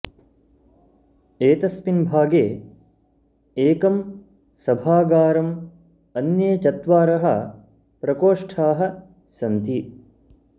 एतस्मिन् भागे एकं सभागारं अन्ये चत्वारः प्रकोष्ठाः सन्ति